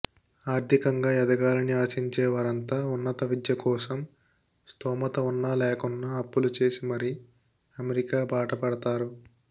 ఆర్థికంగా ఎదగాలని ఆశించేవారంతా ఉన్నత విద్య కోసం స్తోమత వున్నా లేకున్నా అప్పులు చేసి మరీ అమెరికా బాటపడతారు